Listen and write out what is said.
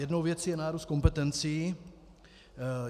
Jedna věc je nárůst kompetencí.